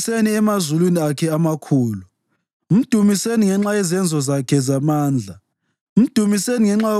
Dumisani uThixo. Dumisani uNkulunkulu endlini yakhe engcwele; mdumiseni emazulwini Akhe amakhulu.